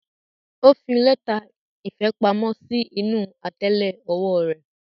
O fi lẹta ìfẹ pamọ́ sí inú atẹlẹ ọwọ́ rẹ.